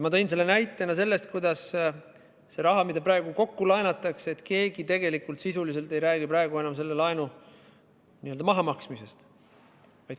Ma tõin selle näitena sellest, kuidas see raha, mida praegu kokku laenatakse, et keegi sisuliselt ei räägi enam selle laenu n-ö mahamaksmisest.